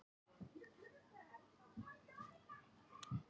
Lögfræðingur minn samþykkti að taka á móti mér á skrifstofu sinni.